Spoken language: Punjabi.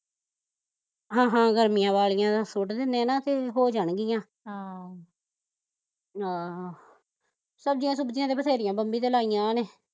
ਹਾਂ ਹਾਂ ਗਰਮੀਆਂ ਵਾਲੀਆਂ ਸੁੱਟ ਦਿੰਦੇ ਨਾ ਤੇ ਹੋ ਜਾਣਗੀਆ ਹਮ ਆਹੋ ਸਬਜ਼ੀਆਂ ਸੁਬਜ਼ੀਆਂ ਤੇ ਵਧੇਰੀਆ ਮੰਮੀ ਨੇ ਲਾਈਆ ਇਹਨੇ